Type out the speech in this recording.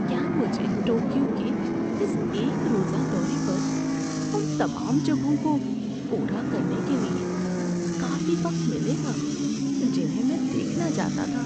کیا مجھے ٹوکیو کے اس ایک روزہ دورے پر ان تمام جگہوں کو پورا کرنے کے لیے کافی وقت ملے گا جنہیں میں دیکھنا چاہتا تھا؟